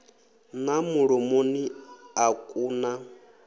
na mulomoni a ku na